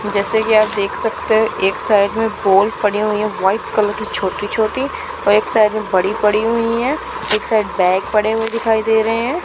जैसे कि आप देख सकते हैं एक साइड में पोल पड़ी हुई हैं व्हाइट कलर की छोटी छोटी और एक साइड में बड़ी पड़ी हुई हैं एक साइड बैग पड़े हुए दिखाई दे रहे हैं।